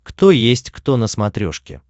кто есть кто на смотрешке